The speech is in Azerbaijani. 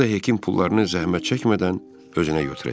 O da heykəm pullarını zəhmət çəkmədən özünə götürəcək.